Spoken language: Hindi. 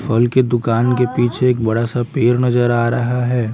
फल के दुकान के पीछे एक बड़ा सा पेर नजर आ रहा है।